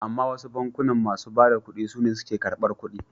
Amma wasu bankunan masu bada ƙuɗi sune suke ƙarbar ƙuɗi.